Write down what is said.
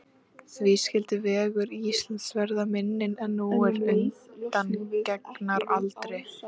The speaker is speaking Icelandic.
Því skyldi vegur Íslands verða minni nú en undangengnar aldir?